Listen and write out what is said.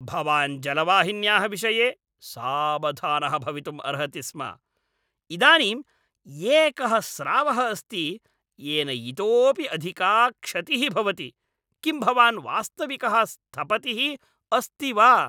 भवान् जलवाहिन्याः विषये सावधानः भवितुम् अर्हति स्म । इदानीं एकः स्रावः अस्ति येन इतोऽपि अधिका क्षतिः भवति! किं भवान् वास्तविकः स्थपतिः अस्ति वा?